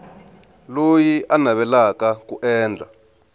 loyi a navelaka ku endla